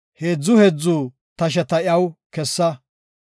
Nam7u baggara, heedzu heedzu tasheta iyaw kessa.